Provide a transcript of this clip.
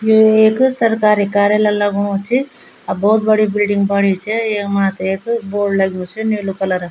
यु एक सरकारी कार्यालय लगणु च अर भोत बड़ी बिल्डिंग बणी च येकमा त यख बोर्ड लग्युं च नीलू कलरअ ।